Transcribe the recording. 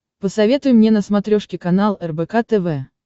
посоветуй мне на смотрешке канал рбк тв